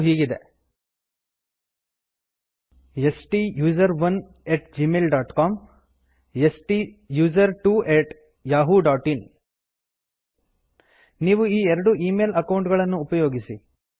ಅವು ಹೀಗಿವೆ ಸ್ಟುಸೆರೋನ್ ಅಟ್ ಜಿಮೇಲ್ ಡಾಟ್ ಸಿಒಎಂ ಸ್ಟುಸರ್ಟ್ವೊ ಅಟ್ ಯಹೂ ಡಾಟ್ ಇನ್ ನೀವು ಈ ಎರಡು ಈ ಮೇಲ್ ಅಕೌಂಟ್ ಗಳನ್ನು ಉಪಯೋಗಿಸಿ